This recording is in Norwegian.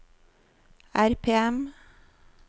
RPM